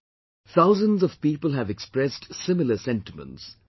" Thousands of people have expressed similar sentiments